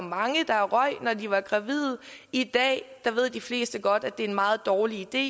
mange der røg når de var gravide i dag ved de fleste godt at det er en meget dårlig idé